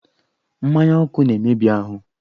Mmanya ọkụ na-emebi ahụ.